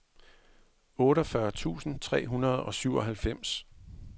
otteogfyrre tusind tre hundrede og syvoghalvfems